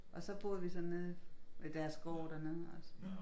Og så boede vi så nede ved deres gård dernede altså